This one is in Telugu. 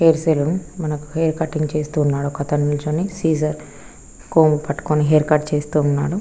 హెయిర్ సెలూన్ మనకి హెయిర్ కటింగ్ చూస్తూ ఉన్నాడు. సీజర్ కూమ్బ్ పట్టుకొని హెయిర్ కట్ చేస్తూ ఉన్నాడు.